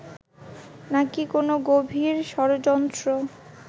নাকি কোনো গভীর ষড়যন্ত্র